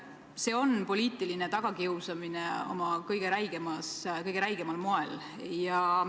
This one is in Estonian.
See on poliitiline tagakiusamine kõige räigemal moel.